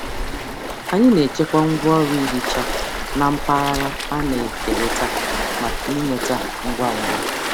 Anyị na-echekwa ngwaọrụ ihicha na mpaghara a na-ekerịta maka ịnweta ngwa ngwa.